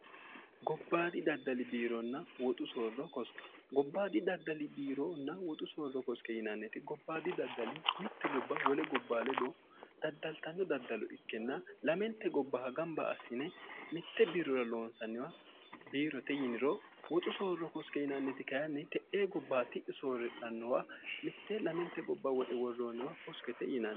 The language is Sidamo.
gobbaadi daddali biironna woxu soorro kosqe gobbaadi daddali biironna woxu soorro koske yinanneti gobbaadi daddali mitte gobba wole gobba ledo daddaltanno daddalo ikkenna lamente gobbaha gamba assine mitte biirrura loonsanniwa biirote yiniro woxu soorro koske yinanneti kayanni te'ee gobbaati soorrirannowa mitte lamente gobba woxe worroonniwa koskete yiin